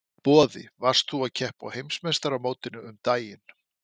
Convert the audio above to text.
Boði: Þú varst að keppa á heimsmeistaramótinu um daginn?